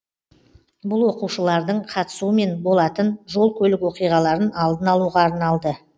бұл оқушылардың қатысуымен болатын жол көлік оқиғаларын алдын алуға арналды